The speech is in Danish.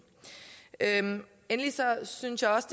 endelig synes jeg også